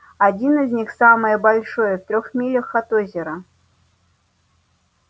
один из них самое большие в трёх милях от озера